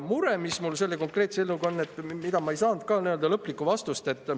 Mure kohta, mis mul selle konkreetse eelnõuga on, ei saanud ma ka lõplikku vastust.